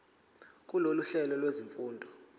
kulolu hlelo lwezifundo